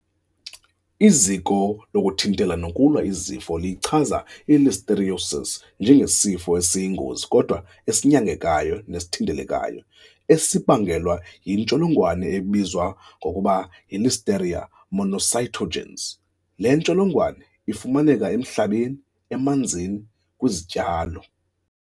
Iziko lokuThintela nokuLwa iZifo liyichaza i-Listeriosis njengesifo esiyingozi kodwa esinyangekayo nesithintelekayo esibangelwa yintsholongwane ebizwa ngokuba yi-Listeria monocytogenes. Le ntsholongwane ifumaneka emhlabeni, emanzini, kwizityalo.